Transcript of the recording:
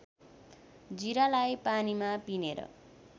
जिरालाई पानीमा पिनेर